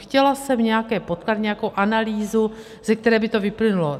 Chtěla jsem nějaké podklady, nějakou analýzu, ze které by to vyplynulo.